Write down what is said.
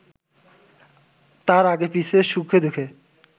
তাঁর আগে-পিছে, সুখে-দুঃখে